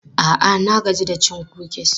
A'a, na gaji da cin kukis.